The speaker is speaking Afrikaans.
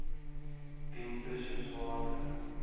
dienste soos water